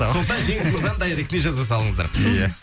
сондықтан жеңіс мырзаның дайректіне жаза салыңыздар ия